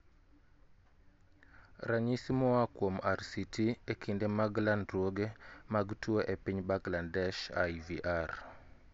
Ranyisi moa kuom RCT e kinde mag landruoge mag tuo e piny Bangladesh IVR